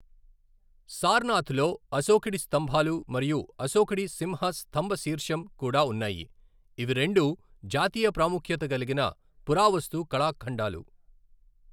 సారనాథ్ లో అశోకుడి స్తంభాలు మరియు అశోకుడి సింహ స్థంభశీర్షం కూడా ఉన్నాయి, ఇవి రెండూ జాతీయ ప్రాముఖ్యత కలిగిన పురావస్తు కళాఖండాలు.